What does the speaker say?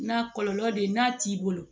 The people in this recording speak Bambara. Na kɔlɔlɔ de ye n'a t'i bolo